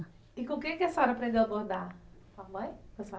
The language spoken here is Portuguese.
E com quem que a senhora aprendeu a bordar? Com a mãe? Com a sua